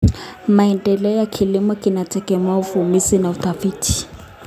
Maendeleo ya kilimo yanategemea uvumbuzi na utafiti.